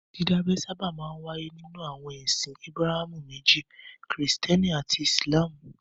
Dídábẹ sábà máa ń wáyé nínú àwọn ẹsìn Ábúráhámù méjì; Kìrìtẹ́ẹ́nì àti Ìsìlámù.